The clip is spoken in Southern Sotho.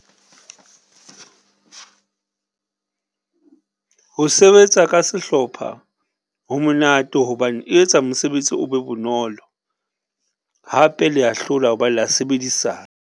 Ho sebetsa ka sehlopha, ho monate hobane etsa mosebetsi o be bonolo hape le ya hlola ho ba le a sebedisana.